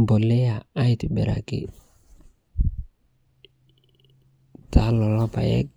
mpolea aitibiraki tana kuloo lpaeg